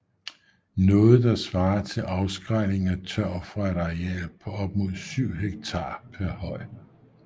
Noget der svarer til afskrælning af tørv fra et areal på op mod 7 hektar per høj